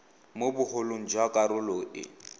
mo bogolong jwa karolo e